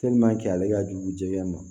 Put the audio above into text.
ale ka jugu jɛgɛ ma